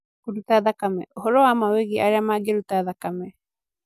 Kũruta Thakame: Ũhoro wa ma wĩgiĩ arĩa mangĩruta thakame